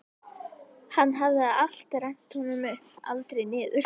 Hann hafði alltaf rennt honum upp, aldrei niður.